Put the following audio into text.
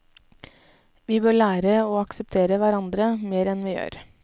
Vi bør lære å akseptere hverandre mer enn vi gjør.